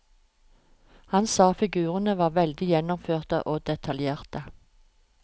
Han sa figurene var veldig gjennomførte og detaljerte.